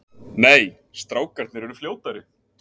Nei, strákarnir eru fljótari.